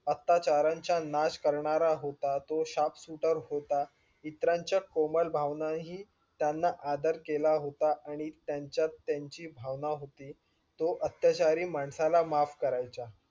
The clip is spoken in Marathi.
अत्याचारांचा नाश करणारा होता तो sharp shooter होता. इतरांच्या कोमल भावनाही त्यांना आदर केला होता आणि त्यांच्यात त्यांची भावना होती तो अत्याचारी माणसाला माफ करायचा.